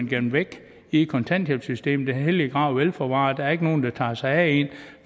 gemt væk i kontanthjælpssystemet den hellige grav er vel forvaret der er ikke nogen der tager sig af en